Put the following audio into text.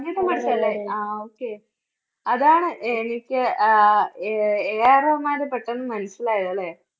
സംഗീതം പഠിച്ചതല്ലേ? ആ ആ okay അതാണ് എനിക്ക് അഹ് AAR റഹ്മാനെ പെട്ടെന്ന് മനസ്സിലായത് അല്ലേ?